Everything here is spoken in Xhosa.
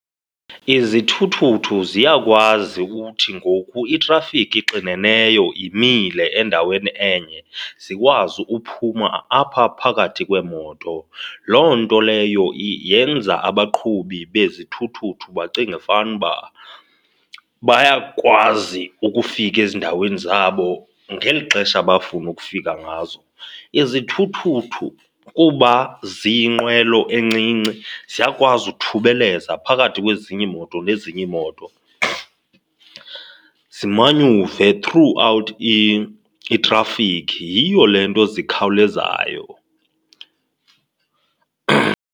Izithuthuthu ziyakwazi uthi ngoku itrafikhi ixineneyo imile endaweni enye, zikwazi uphuma apha phakathi kweemoto. Loo nto leyo yenza abaqhubi bezithuthuthu bacinge fanuba bayakwazi ukufika ezindaweni zabo ngeli xesha abafuna ukufika ngazo. Izithuthuthu kuba ziyinqwelo encinci, ziyakwazi ukuthubeleza phakathi kwezinye iimoto nezinye iimoto zimanyuve throughout itrafikhi, yiyo le nto zikhawulezayo.